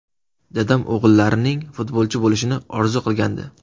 Dadam o‘g‘illarining futbolchi bo‘lishini orzu qilgandi.